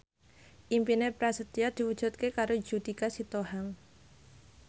impine Prasetyo diwujudke karo Judika Sitohang